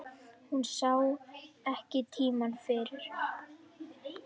Hún sá ekki tímann fyrir.